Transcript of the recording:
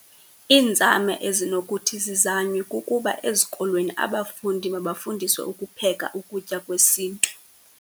Iinzame ezinokuthi zizanywe kukuba ezikolweni abafundi mabafundiswe ukupheka ukutya kwesintu.